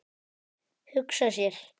Hugsa sér!